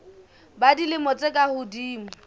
ba dilemo tse ka hodimo